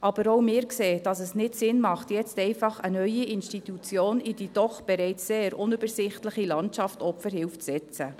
Aber auch wir sehen, dass es nicht Sinn macht, jetzt einfach eine neue Institution in die doch bereits sehr unübersichtliche Landschaft Opferhilfe zu setzen.